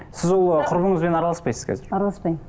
сіз ол құрбыңызбен араласпайсыз қазір араласпаймын